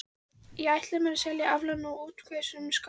Ég ætla mér að selja aflann frá útvegsjörðum Skálholts.